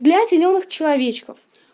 для зелёных человечков